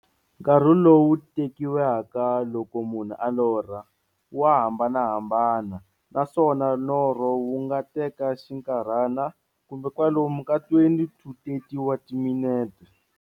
Nkarhi lowu tekiwaka loko munhu a lorha, wa hambanahambana, naswona norho wu nga teka xinkarhana, kumbe kwalomu ka 20-30 wa timinete.